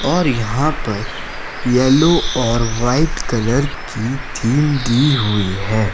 और यहां पर येलो और व्हाइट कलर की थीम दी हुई है।